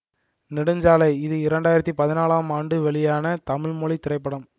நெடுஞ்சாலை இது இரண்டு ஆயிரத்தி பதினாலாம் ஆண்டு வெளியான தமிழ் மொழி திரைப்படம்